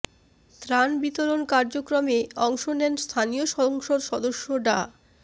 ত্রাণ বিতরণ কার্যক্রমে অংশ নেন স্থানীয় সংসদ সদস্য ডা